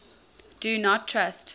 do not trust